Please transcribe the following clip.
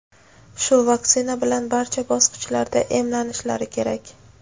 shu vaksina bilan barcha bosqichlarida emlanishlari kerak.